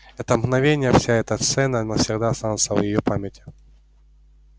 это мгновение вся эта сцена навсегда останутся в её памяти